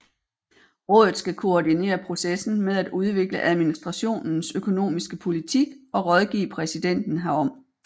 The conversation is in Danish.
Rådet skal koordinere processen med at udvikle administrationens økonomiske politik og rådgive præsidenten herom